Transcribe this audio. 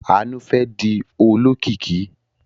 Àánú fẹ́ di olókìkí.